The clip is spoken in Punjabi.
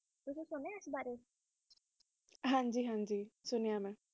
ਸੁੰਨੀਆਂ ਇਸ ਬਾਰੇ ਹਨ ਜੀ ਹਨ ਜੀ ਸੁੰਞਾ